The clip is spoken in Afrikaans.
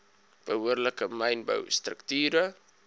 behoorlike mynbou strukture